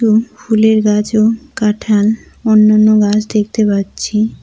ফুলের গাছ ও কাঁঠাল অন্যান্য গাছ দেখতে পাচ্ছি।